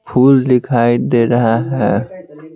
फूल दिखाई दे रहा है।